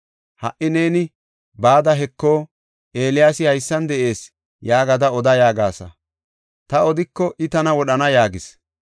Ha77i neeni, ‘Bada, heko, Eeliyaasi haysan de7ees’ yaagada oda yaagasa. Ta odiko I tana wodhana” yaagis.